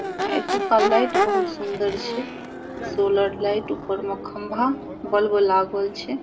एतो का लाइट बहुत सुन्दर छै सोलर लाइट ऊपर में खंभा बल्ब लागल छै।